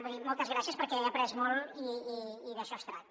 vull dir moltes gràcies perquè he après molt i d’això es tracta